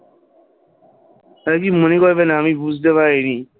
আরে কিছু মনে করবেনা আমি বুঝতে পারিনি,